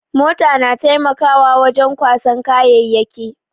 Mota na taimakawa wajen kwasan kayayyaki.